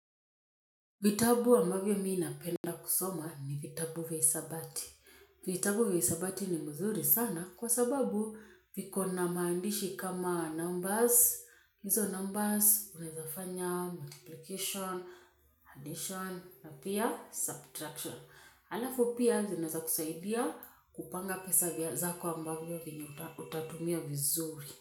Vitabu ambavyo mi napenda kusoma ni vitabu vya hisabati. Vitabu vya hisabati ni mzuri sana kwa sababu viko na maandishi kama numbers. Hizo numbers unaezafanya, multiplication, addition, na pia, subtraction. Halafu pia zuinaweza kusaidia kupanga pesa vya zako ambavyo vyenye utatumia vizuri.